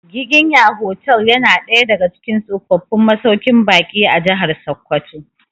Giginya hotel ya na daya daga cikin tsofaffin masauƙin baƙi a Jahar Sokoto